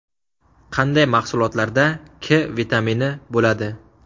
Qanday mahsulotlarda K vitamini bo‘ladi?